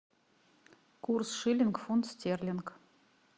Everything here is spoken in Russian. курс шиллинг фунт стерлинг